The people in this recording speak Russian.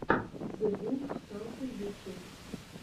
зэвулфсталкер ютюб